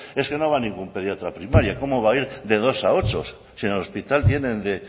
es que no va ningún pediatra a primaria como va a ir de dos a ocho si en el hospital tienen de